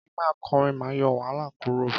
Kí ma korin ma yo wahala kuro